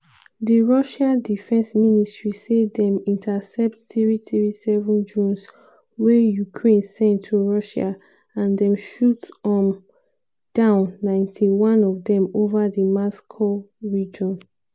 di russian defence ministry say dem intercept 337 drones wey ukraine send to russia and dem shoot um down 91 of dem ova di moscow region.